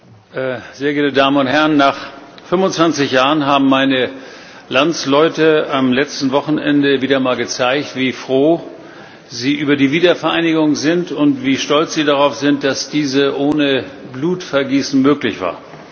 Herr Präsident, meine sehr geehrten Damen und Herren! Nach 25 Jahren haben meine Landsleute am letzten Wochenende wieder einmal gezeigt, wie froh sie über die Wiedervereinigung sind und wie stolz sie darauf sind, dass diese ohne Blutvergießen möglich war.